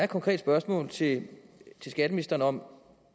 konkrete spørgsmål til skatteministeren om